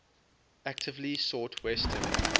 actively sought western